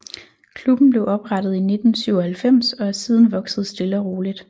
Klubben blev oprettet i 1997 og er siden vokset stille og roligt